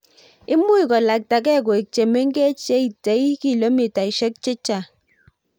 imuuch kolaktegei koik chemengech cheitei kilomitashik chechang